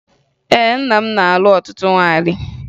Ee, nna m na-alụ ọtụtụ nwaanyị